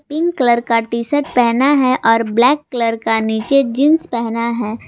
Pink colour का T shirt पहना है और ब्लैक कलर का नीचे जींस पहना है।